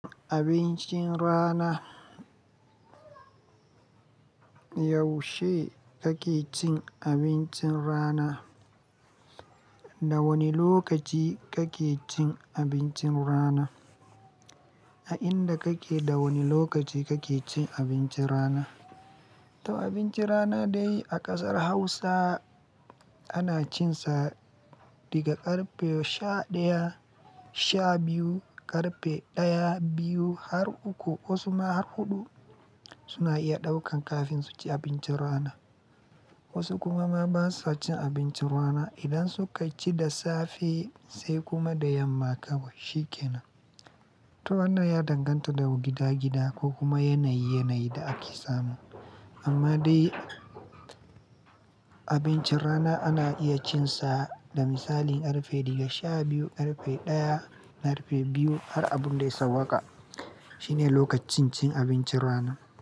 Abincin rana. Yaushe kake cin abincin rana? Da wane lokaci kake cin abincin rana? A inda kake, da wane lokaci kake cin abincin rana? To abincin rana dai a ƙasar Hausa ana cin sa daga ƙarfe sha ɗaya, sha biyu, ƙarfe ɗaya, biyu har uku ko su ma har huɗu suna iya ɗaukan kafin su ci abincin rana. Wasu kuma ma ba su cin abincin rana idan suka ci da safe sai kuma da yamma kawai, shi kenan. To wannan ya danganta da gida-gida ko kuma yanayi-yanayi da ake samu. Amma dai abincin rana ana iya cin sa da misali ƙarfe daga sha biyu, ƙarfe ɗaya da ƙarfe biyu har abun dai sauƙa. Shine lokacin cin abincin rana.